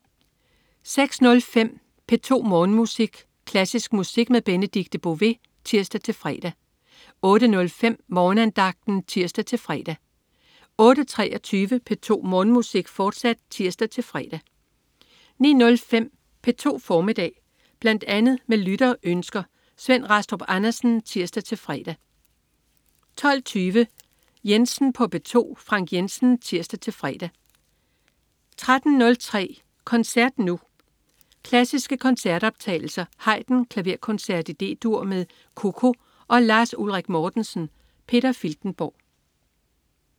06.05 P2 Morgenmusik. Klassisk musik med Benedikte Bové (tirs-fre) 08.05 Morgenandagten (tirs-fre) 08.23 P2 Morgenmusik, fortsat (tirs-fre) 09.05 P2 formiddag. Bl.a. med lytterønsker. Svend Rastrup Andersen (tirs-fre) 12.20 Jensen på P2. Frank Jensen (tirs-fre) 13.03 Koncert Nu. Klassiske koncertoptagelser. Haydn: Klaverkoncert D-dur med COCO og Lars Ulrik Mortensen. Peter Filtenborg